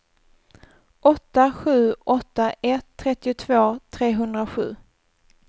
åtta sju åtta ett trettiotvå trehundrasju